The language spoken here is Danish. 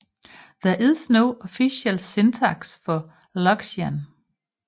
There is no official syntax for Loxian